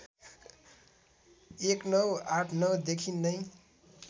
१९८९ देखि नै